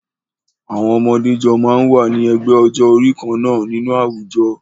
Àwọn ọmọdé jọ máa ń wà ní ẹgbẹ́ ọjọ́-orí kan náà nínú àwùjọ.